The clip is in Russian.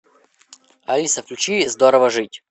алиса включи здорово жить